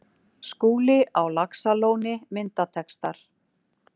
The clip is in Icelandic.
Skúli á Laxalóni Myndatextar